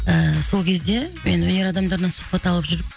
ііі сол кезде мен өнер адамдарынан сұхбат алып жүріп